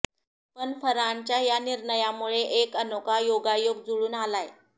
पण फरहानच्या या निर्णयामुळे एक अनोखा योगायोग जुळून आलाय